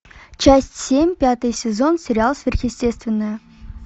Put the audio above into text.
часть семь пятый сезон сериал сверхъестественное